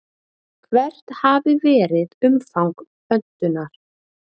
Hvert hafi verið umfang pöntunar?